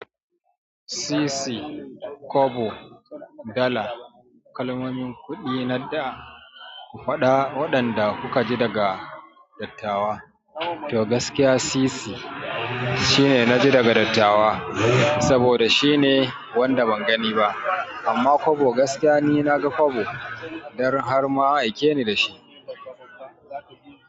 Sisi, Kobo, Dala. Kalmomin kuɗi naɗa waɗanda kuka ji daga dattawa. To gaskiya Sisi shine na ji daga dattawa saboda shine wanda ban gani ba amma Kobo gaskiya ni na ga Kobo don har ma an ake ni da shi.